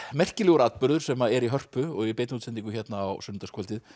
merkilegur atburður sem er í Hörpu og í beinni útsendingu hérna á sunnudagskvöldið